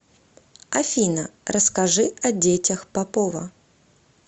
афина расскажи о детях попова